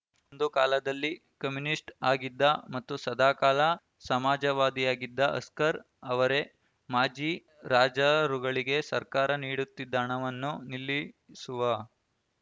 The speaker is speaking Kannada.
ಒಂದು ಕಾಲದಲ್ಲಿ ಕಮ್ಯುನಿಸ್ಟ್‌ ಆಗಿದ್ದ ಮತ್ತು ಸದಾಕಾಲ ಸಮಾಜವಾದಿಯಾಗಿದ್ದ ಹಸ್ಕರ್‌ ಅವರೇ ಮಾಜಿ ರಾಜರುಗಳಿಗೆ ಸರ್ಕಾರ ನೀಡುತ್ತಿದ್ದ ಹಣವನ್ನು ನಿಲ್ಲಿಸುವ